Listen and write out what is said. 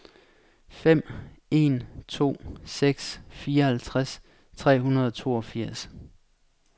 fem en to seks fireoghalvtreds tre hundrede og toogfirs